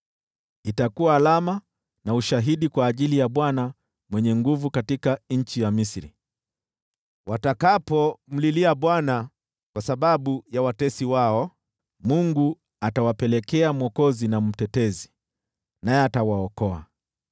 Itakuwa alama na ushahidi kwa ajili ya Bwana Mwenye Nguvu Zote katika nchi ya Misri. Watakapomlilia Bwana kwa sababu ya watesi wao, Mungu atawapelekea mwokozi na mtetezi, naye atawaokoa.